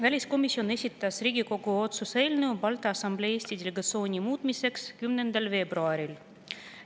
Väliskomisjon esitas Riigikogu otsuse eelnõu Balti Assamblee Eesti delegatsiooni muutmiseks 10. veebruaril.